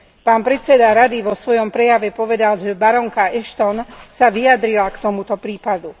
Pán predseda Rady vo svojom prejave povedal, že barónka Ashton sa vyjadrila k tomuto prípadu.